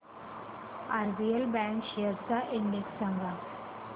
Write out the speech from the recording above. RBL bank shares चा index सांगा